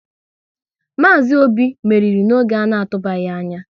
Maazi Obi meriri n'oge ana tubaghi anya